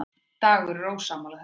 Dagur er ósammála þessu.